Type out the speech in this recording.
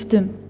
Öpdüm.